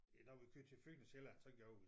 Ja når vi kørte til Fyn og Sjælland så gjorde vi